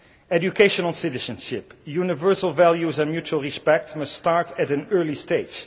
Educational citizenship, universal values and mutual respect must start at an early stage.